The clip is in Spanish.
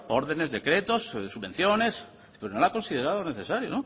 órdenes decretos subvenciones no ha considerado necesario